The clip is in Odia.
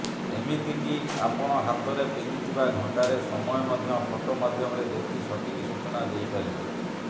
ଏମିତି କି ଆପଣ ହାତରେ ପିନ୍ଧିଥିବା ଘଣ୍ଟାରେ ସମୟ ମଧ୍ୟ ଫଟୋ ମାଧ୍ୟମରେ ଦେଖି ସଠିକ୍ ସୂଚନା ଦେଇପାରିବ